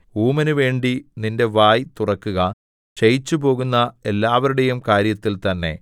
ഊമനു വേണ്ടി നിന്റെ വായ് തുറക്കുക ക്ഷയിച്ചുപോകുന്ന എല്ലാവരുടെയും കാര്യത്തിൽ തന്നെ